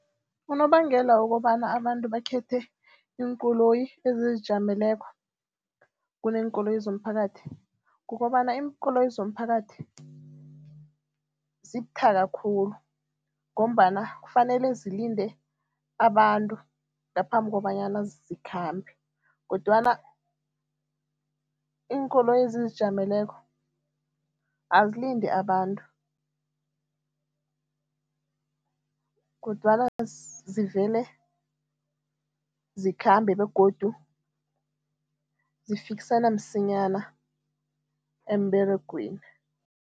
Unobangela wokobana abantu bakhethe iinkoloyi ezizijameleko kuneenkoloyi zomphakathi kukobana, iinkoloyi zomphakathi zibuthaka khulu ngombana kufanele zilinde abantu ngaphambi kobanyana zikhambe kodwana iinkoloyi ezizijameleko azilindi abantu kodwana zivele zikhambe begodu zifikisana msinyana emberegweni.